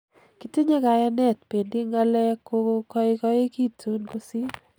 Kitinye kayanet , bendi ngalek kogoikoekitun kosir.